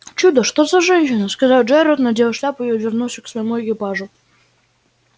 чудо что за женщина сказал джералд надел шляпу и вернулся к своему экипажу